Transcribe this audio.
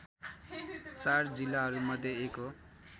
४ जिल्लाहरूमध्ये एक हो